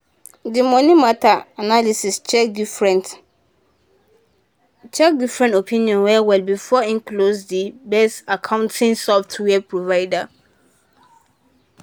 di money matter analyst check different check different options well-well before e choose the best accounting software providers.